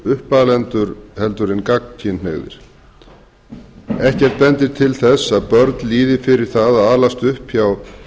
uppalendur heldur en gagnkynhneigðir ekkert bendir til þess að börn líði fyrir það að alast upp hjá